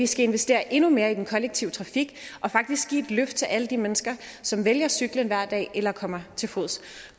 skal investere endnu mere i den kollektive trafik og faktisk give et løft til alle de mennesker som vælger cyklen hver dag eller kommer til fods